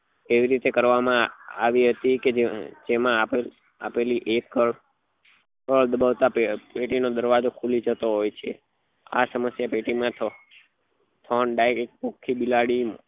એવી રીતે કરવા માં આવી હતી કે જે જેમાં આપડે આપેલી પેટી નો દરવાજો ખુલી જતો હોય છે આ સમસ્યા પેટી માં બિલાડી